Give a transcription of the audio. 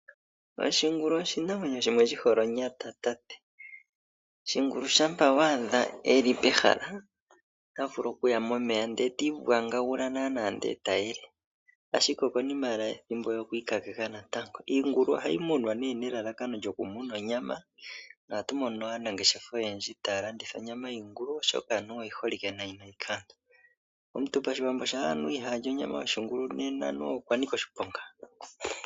Oshingulu oshinamwenyo shimwe shi hole onyata. Shingulu shampa wa adha e li pehala ota vulu okuya momeya ndee ti ivugagula naanawa ndee e ta yele ashike okonima owala yethimbo ye okwiikakeka natango. Iingulu ohayi munwa nelalakano lyokumona onyama na ohatu mono aanangeshefa oyendji taya landitha onyama yoshingulu oshoka anuwa oyi holike nayi nayi kaantu. Omuntu pashiwambo shampa anuwa ihaa li onyama yoshingulu nena anuwa okwa nika oshiponga.